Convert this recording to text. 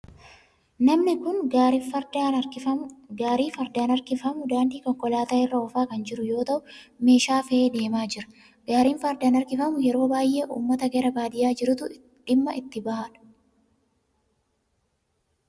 Namni kun gaarii fardaan harkifamu daandii konkolaataa irra oofaa kan jira yoo ta'u meeshaa fe'ee deemaa jira. Gaariin fardaan harkifamu yeroo baayyee ummata gara baadiyaa jirutu itti dhimma kan bahudha.